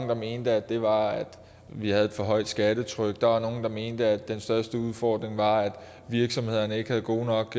der mente at det var at vi havde et for højt skattetryk der var nogle der mente at den største udfordring var at virksomhederne ikke havde gode nok